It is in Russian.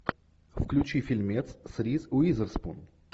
включи фильмец с риз уизерспун